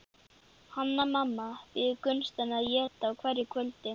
Hanna-Mamma býður Gunnsteini að éta á hverju kvöldi.